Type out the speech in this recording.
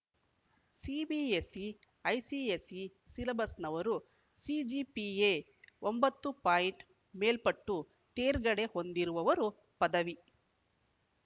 CBSE ICSE ಸಿಲಬಸ್‌ನವರು CGPA ಒಂಬತ್ತು point ಮೇಲ್ಪಟ್ಟು ತೇರ್ಗಡೆ ಹೊಂದಿರುವವರು ಪದವಿ